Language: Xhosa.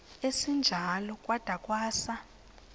esinjalo kwada kwasa